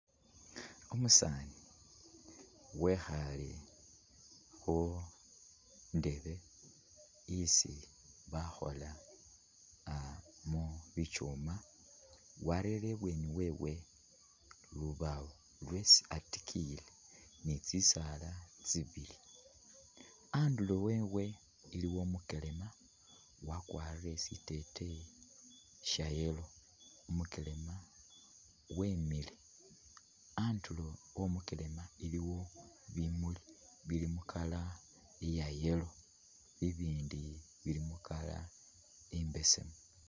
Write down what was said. Umusani wekhale khundeebe isi bakhola aah mubitsuma warere ibweni wewe lubawo isi atikiyile ni tsisaala tsibili andulo wewe iliyo umukelema wakwarile siteteya sha'yellow umukelema wemile andulo omukelema iliwo bimuli bili mu'colour ya'yellow ibindu bili mu'colour imbesemu